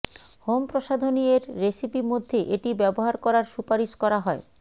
home প্রসাধনী এর recipe মধ্যে এটি ব্যবহার করার সুপারিশ করা হয়